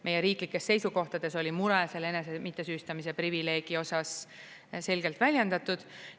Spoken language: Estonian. Meie riiklikes seisukohtades oli mure selle enese mittesüüstamise privileegi osas selgelt väljendatud.